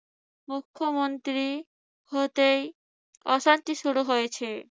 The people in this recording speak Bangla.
মুখ্যমন্ত্রী হতেই অশান্তি শুরু হয়েছে।